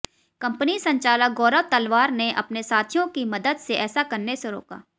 company संचालक गौरव तलवार ने अपने साथियों की मदद से ऐसा करने से रोका